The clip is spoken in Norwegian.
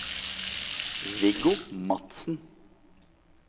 Viggo Madsen